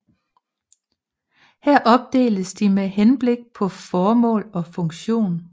Her opdeles de med henblik på formål og funktion